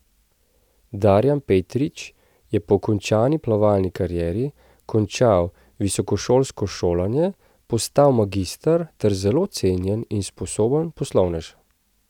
Darjan Petrič je po končani plavalni karieri končal visokošolsko šolanje, postal magister ter zelo cenjen in sposoben poslovnež.